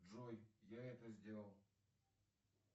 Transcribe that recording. джой я это сделал